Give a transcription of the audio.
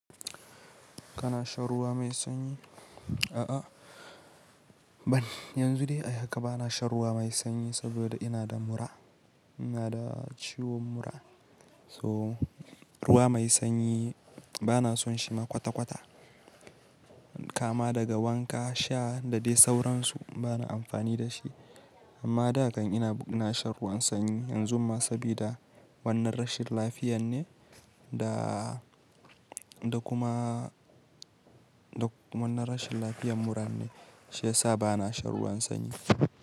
Kana shan ruwa mai sanyi? A'a ban, yanzu dai a haka bana shan ruwa mai sanyi saboda ina da mura, ina da ciwon mura so ruwa mai sanyi bana son shi ma kwata-kwata. Kama daga wanka sha da dai sauransu bana amfani da shi. Amma da kan ina na shan ruwan sanyi yanzu ma sabida wannan rashin lafiyan ne da, da kuma, da wannan rashin lafiyan mura ne shi ya sa bana shan ruwan sanyi.